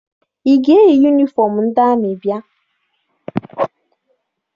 Ị ga-eyi yunifọm ndị amị bịa?